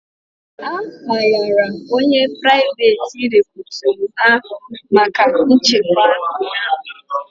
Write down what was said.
A hayara onye priveti recutu ahụ maka nchekwa ụnyaahụ